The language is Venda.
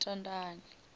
tshitandani